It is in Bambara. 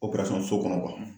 so kɔnɔ